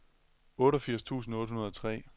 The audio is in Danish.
otteogfirs tusind otte hundrede og tre